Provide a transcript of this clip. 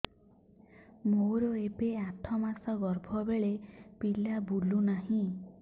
ମୋର ଏବେ ଆଠ ମାସ ଗର୍ଭ ବେଳେ ବେଳେ ପିଲା ବୁଲୁ ନାହିଁ